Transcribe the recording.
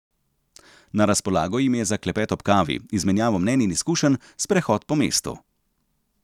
Na razpolago jim je za klepet ob kavi, izmenjavo mnenj in izkušenj, sprehod po mestu.